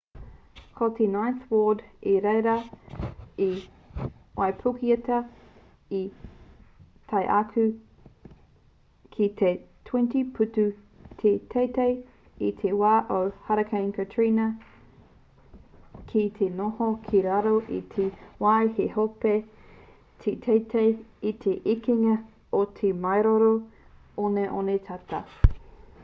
ko te ninth ward i reira i waipuketia tae atu ki te 20 putu te teitei i te wā o hurricane katrina kei te noho ki raro i te wai he hope te teitei i te ekenga o te maioro oneone tata